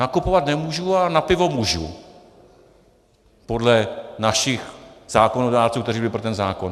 Nakupovat nemůžu a na pivo můžu podle našich zákonodárců, kteří byli pro ten zákon.